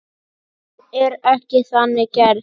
Hún er ekki þannig gerð.